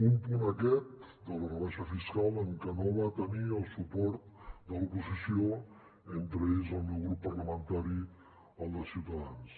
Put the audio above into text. un punt aquest de la rebaixa fiscal en què no va tenir el suport de l’oposició entre ells el meu grup parlamentari el de ciutadans